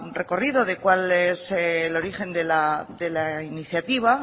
recorrido de cuál es el origen de la iniciativa